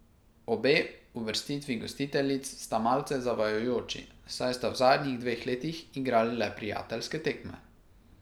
Obe uvrstitvi gostiteljic sta malce zavajajoči, saj sta v zadnjih dveh letih igrali le prijateljske tekme.